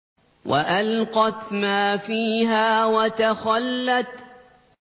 وَأَلْقَتْ مَا فِيهَا وَتَخَلَّتْ